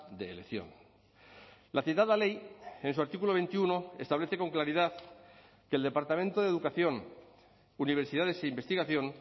de elección la citada ley en su artículo veintiuno establece con claridad que el departamento de educación universidades e investigación